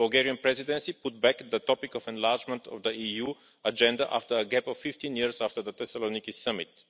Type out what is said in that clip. The Bulgarian Presidency put back the topic of enlargement of the EU agenda, after a gap of 15 years after the Thessaloniki Summit.